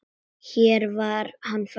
Hér var hann fæddur.